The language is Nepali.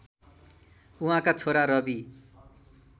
उहाँका छोरा रवि